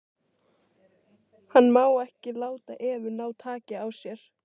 Hann má ekki láta Evu ná taki á sér.